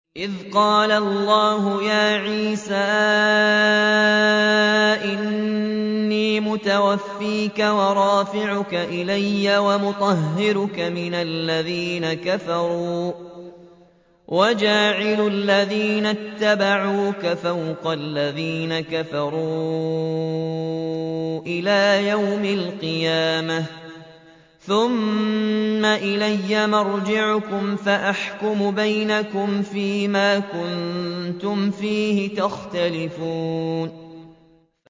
إِذْ قَالَ اللَّهُ يَا عِيسَىٰ إِنِّي مُتَوَفِّيكَ وَرَافِعُكَ إِلَيَّ وَمُطَهِّرُكَ مِنَ الَّذِينَ كَفَرُوا وَجَاعِلُ الَّذِينَ اتَّبَعُوكَ فَوْقَ الَّذِينَ كَفَرُوا إِلَىٰ يَوْمِ الْقِيَامَةِ ۖ ثُمَّ إِلَيَّ مَرْجِعُكُمْ فَأَحْكُمُ بَيْنَكُمْ فِيمَا كُنتُمْ فِيهِ تَخْتَلِفُونَ